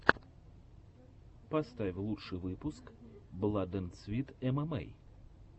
поставь лучший выпуск бладэндсвитэмэмэй